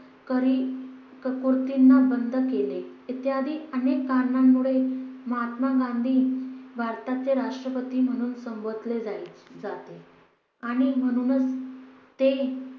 बंद केले इत्यादी अनेक कारणांमुळे महात्मा गांधी भारताचे राष्ट्रपती म्हणून संबोधले जाय जाते. आणि म्हणूनच ते